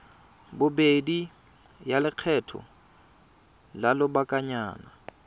bobedi ya lekgetho la lobakanyana